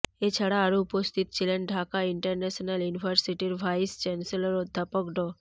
এছাড়া আরও উপস্থিত ছিলেন ঢাকা ইন্টারন্যাশনাল ইউনিভার্সিটির ভাইস চ্যান্সেলর অধ্যাপক ড